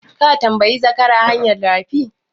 Ka tambayi zakara hanyar rafi?